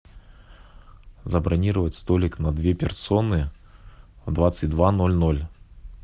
забронировать столик на две персоны в двадцать два ноль ноль